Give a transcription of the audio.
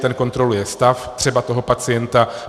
Ten kontroluje stav třeba toho pacienta.